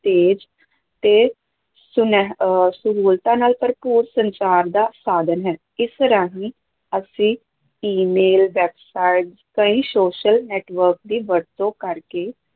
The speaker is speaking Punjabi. ਤੇਜ਼ ਤੇ ਸੁਨਿਹ ਅਹ ਸਹੂਲਤਾਂ ਨਾਲ ਭਰਪੂਰ ਸੰਚਾਰ ਦਾ ਸਾਧਨ ਹੈ, ਇਸ ਰਾਹੀਂ ਅਸੀਂ email, websites ਕਈ social network ਦੀ ਵਰਤੋਂ ਕਰਕੇ